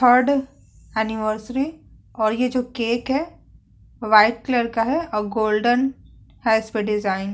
Third anniversary और ये जो केक है व्हाइट कलर का है और गोल्डन है इसपे डिजाइन ।